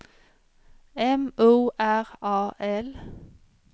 M O R A L